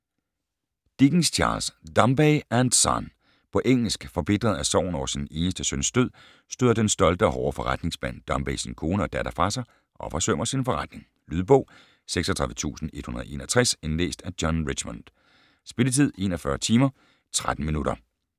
Dickens, Charles: Dombey and son På engelsk. Forbitret af sorgen over sin eneste søns død støder den stolte og hårde forretningsmand Dombey sin kone og datter fra sig og forsømmer sin forretning. Lydbog 36161 Indlæst af John Richmond Spilletid: 41 timer, 13 minutter